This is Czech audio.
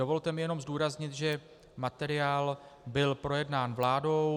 Dovolte mi jenom zdůraznit, že materiál byl projednán vládou.